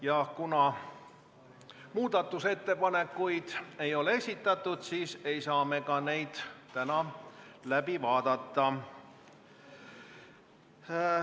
Ja kuna muudatusettepanekuid ei ole esitatud, siis ei saa me neid läbi vaadata.